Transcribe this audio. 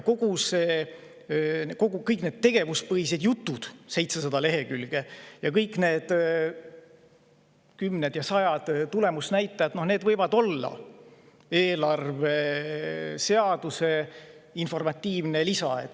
Kõik need tegevuspõhisuse jutud, 700 lehekülge, ning kõik need kümned ja sajad tulemusnäitajad võivad olla eelarveseaduse informatiivne lisa.